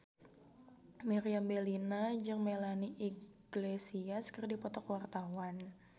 Meriam Bellina jeung Melanie Iglesias keur dipoto ku wartawan